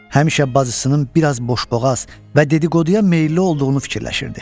Həmişə bacısının biraz boşboğaz və dedi-qoduya meyilli olduğunu fikirləşirdi.